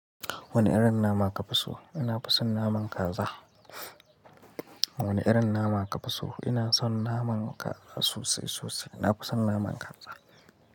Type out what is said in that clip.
Wani irin nama kafi so? Ni nafi son naman kaza. Wane irin nama kafi so? Ina son naman kaza sosai sosai. Nafi san naman kaza.